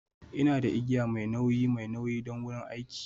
Ina da igiya mai nauyi mai nauyi don wurin aiki.